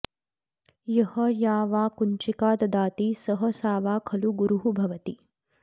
यः या वा कुञ्चिका ददाति सः सा वा खलु गुरुः भवति